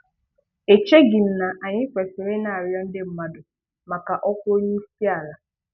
Echeghị na anyị kwesịrị ị na-arịọ ndị mmadụ maka ọkwa onyeisiala.